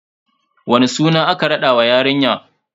Wani suna aka raɗa wa yarinya?